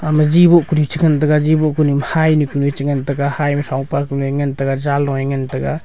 ama jiboh kuru chingan taiga jiboh kunu ma hynu chengan taiga hy ma throng pah kunu ngan taiga jaloe ngan taiga.